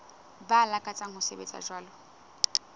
ba lakatsang ho sebetsa jwalo